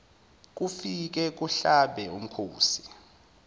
kufike kuhlabe umkhosi